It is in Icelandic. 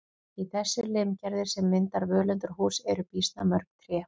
Í þessu limgerði sem myndar völundarhús eru býsna mörg tré.